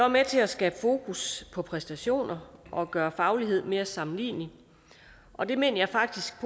med til at skabe fokus på præstationer og gøre faglighed mere sammenlignelig og det mener jeg faktisk